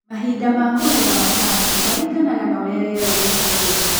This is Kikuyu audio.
Mahinda ma kũgetha macani maringanaga na ũrĩa rĩera rĩikaire.